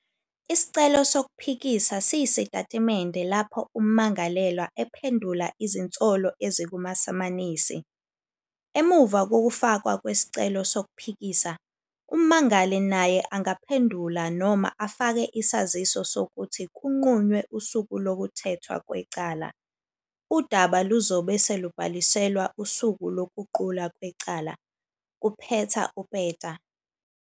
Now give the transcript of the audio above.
Isicelo sokuphikisa siyisitatimende lapho ummangalelwa ephendula izinsolo ezikumasamanisi. Emuva kokufakwa kwesicelo sokuphikisa, ummangali naye angaphendula noma afake isaziso sokuthi kunqunywe usuku lokuthethwa kwecala."Udaba luzobe selubhaliselwa usuku lokuqulwa kwecala," kuphetha uPeta.